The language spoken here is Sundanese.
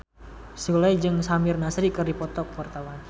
Sule jeung Samir Nasri keur dipoto ku wartawan